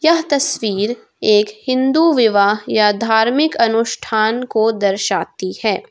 यह तस्वीर एक हिंदू विवाह या धार्मिक अनुष्ठान को दर्शाती है।